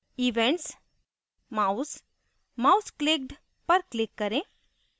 events> mouse> mouseclicked पर click करें